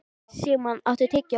Sigmann, áttu tyggjó?